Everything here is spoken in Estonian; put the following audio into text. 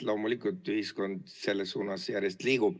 Loomulikult, ühiskond järjest selles suunas liigub.